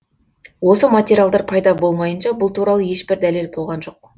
осы материалдар пайда болмайынша бұл туралы ешбір дәлел болған жоқ